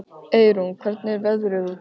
Eyrún, hvernig er veðrið úti?